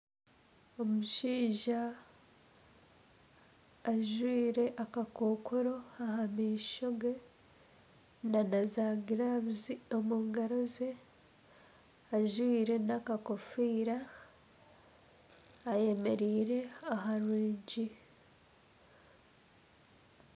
Omushaija ajwire akakookoro aha maisho ge nana zaagiravu omu ngaro ze ajwire n'akakofiira ayemereire aha rwigi